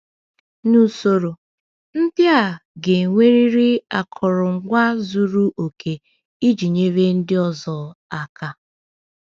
N’usoro, ndị a ga-enwerịrị akụrụngwa zuru oke iji nyere ndị ọzọ aka.